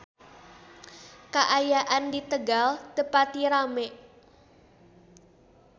Kaayaan di Tegal teu pati rame